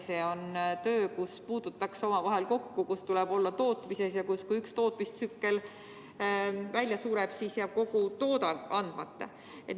See on töö, kus puututakse omavahel kokku, kus tuleb olla tootmises kohal ja kui üks tootmistsükkel välja sureb, siis jääb kogu toodang andmata.